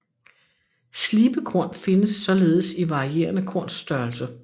Slibekorn findes således i varierende kornstørrelse